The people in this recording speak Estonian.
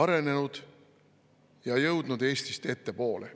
arenenud ja jõudnud Eestist ettepoole.